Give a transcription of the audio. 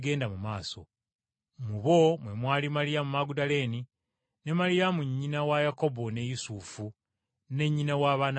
Mu bo mmwe mwali Maliyamu Magudaleene ne Maliyamu nnyina wa Yakobo ne Yusufu, ne nnyina w’abaana ba Zebbedaayo.